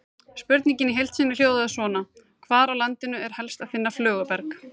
Spurningin í heild sinni hljóðaði svona: Hvar á landinu er helst að finna flöguberg?